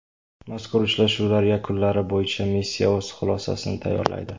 Mazkur uchrashuvlar yakunlari bo‘yicha missiya o‘z xulosacsini tayyorlaydi.